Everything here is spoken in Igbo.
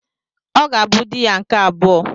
Ọ ga-abụ dị ya nke abụọ.